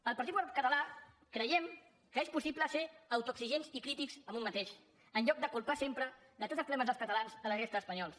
el partit popular català creiem que és possible ser autoexigents i crítics amb un mateix en lloc de culpar sempre de tots els problemes dels catalans la resta d’espanyols